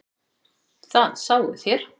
Það sáuð þér.